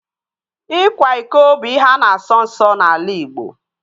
Ịkwa iko bụ ihe a na-asọ nsọ n'ala Igbo